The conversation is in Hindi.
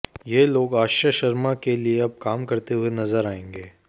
ये लोग आश्रय शर्मा के लिए अब काम करते हुए नजर आएंगे